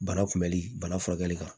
Bana kunbɛli bana furakɛli kan